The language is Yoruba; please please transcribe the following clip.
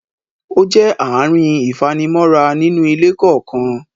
ó jẹ́ ààrin ìfanimọ́ra nínú ilé kọ̀ọ̀kan.